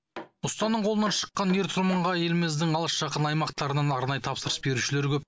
ұстаның қолынан шыққан ер тұрманға еліміздің алыс жақын аймақтарынан арнайы тапсырыс берушілер көп